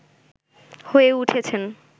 হয়ে উঠেছেন